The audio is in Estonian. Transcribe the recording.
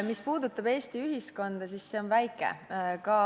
Mis puudutab Eesti ühiskonda, siis see on väike.